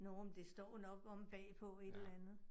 Nåh, men det står jo nok omme bag på et eller andet